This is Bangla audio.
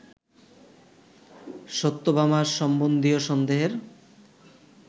সত্যভামা সম্বন্ধীয় সন্দেহের